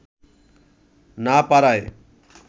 না পারায়